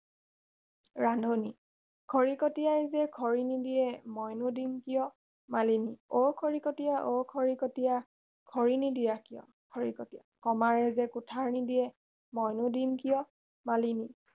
ৰান্ধনী খৰিকটীয়াই যে খৰি নিদিয়ে মইনো দিম কিয় মালিনী অ খৰিকটীয়া অ খৰিকটীয়া খৰি নিদিয় কিয় খৰিকটীয়া কমাৰে যে কুঠাৰ নিদিয় মইনো দিম কিয় মালিনী